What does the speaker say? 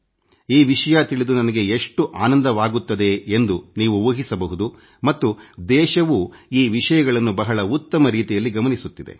ಈ ವಿಷಯ ತಿಳಿದು ನನಗೆ ಎಷ್ಟು ಆನಂದವಾಗುತ್ತದೆ ಎಂದು ನೀವು ಊಹಿಸಬಹುದು ಮತ್ತು ದೇಶವೂ ಈ ವಿಷಯಗಳನ್ನು ಬಹಳ ಉತ್ತಮ ರೀತಿಯಲ್ಲಿ ಗಮನಿಸುತ್ತಿದೆ